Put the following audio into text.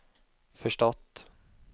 förstått